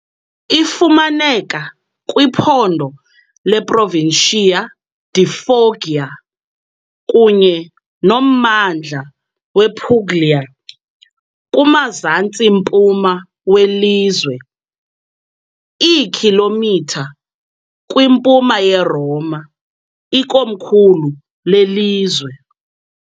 Ifumaneka kwiphondo leProvincia di Foggia kunye nommandla wePuglia, kumazantsi-mpuma welizwe, iikhilomitha kwimpuma yeRoma, ikomkhulu lelizwe.